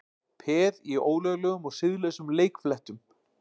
Peð í ólöglegum og siðlausum leikfléttum